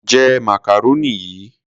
Jẹ macaroni yìí.